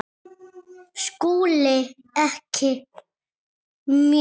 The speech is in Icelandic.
SKÚLI: Ekki mjög.